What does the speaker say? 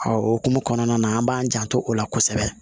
o hukumu kɔnɔna na an b'an janto o la kosɛbɛ